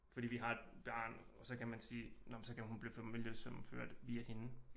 Fordi vi har et barn og så kan man sige nåh men så kan hun blive familiesammenført via hende